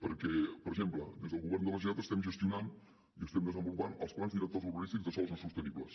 perquè per exemple des del govern de la generalitat estem gestionant i estem desenvolupant els plans directors urbanístics de sòls no sostenibles